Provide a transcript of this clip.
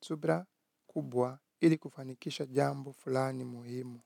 subira kubwa ili kufanikisha jambo fulani muhimu.